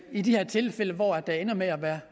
i de her tilfælde hvor der ender med at være